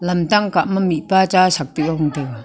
lam tang kah ma mihpa cha sak tuh a gong taiga.